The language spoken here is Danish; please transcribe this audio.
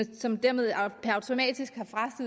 som dermed automatisk